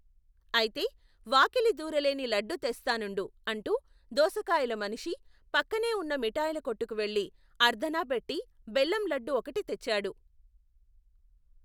ఐతే, వాకిలి దూరలేని లడ్డు తెస్తా నుండు, అంటూ, దోసకాయల మనిషి, పక్కనే వున్న మిఠాయికొట్టుకు వెళ్ళి, అర్ధణా పెట్టి, బెల్లం లడ్డు ఒకటి తెచ్చాడు.